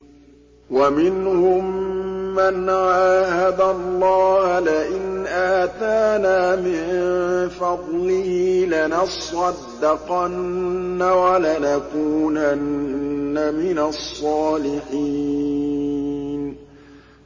۞ وَمِنْهُم مَّنْ عَاهَدَ اللَّهَ لَئِنْ آتَانَا مِن فَضْلِهِ لَنَصَّدَّقَنَّ وَلَنَكُونَنَّ مِنَ الصَّالِحِينَ